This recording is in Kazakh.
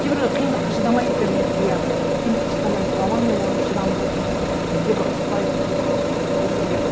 кейбіреулер қиындыққа шыдамай иә қиындыққа шыдамайды а ол менің мамам шыдамды сондай бізге бір ұрыспай сөйтіп өсірген